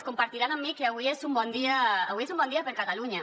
deuran compartir amb mi que avui és un bon dia avui és un bon dia per a catalunya